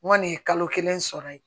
N kɔni ye kalo kelen sɔrɔ ye